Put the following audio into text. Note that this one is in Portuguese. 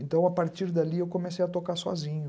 Então a partir dali eu comecei a tocar sozinho.